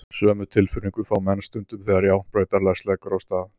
Sömu tilfinningu fá menn stundum þegar járnbrautarlest leggur af stað.